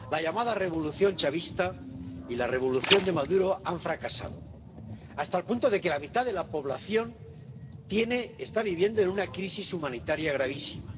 La llamada revolución chavista y la revolución de Maduro han fracasado, hasta el punto de que la mitad de la población está viviendo en una crisis humanitaria gravísima.